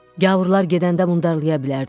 Gavurlar gedəndə mundarlaya bilərdilər.